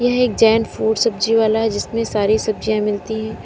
यह एक जैन फूड सब्जी वाला है जिसमें सारी सब्जियां मिलती है।